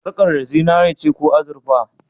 Sarƙar da zinare ce ko azurfa?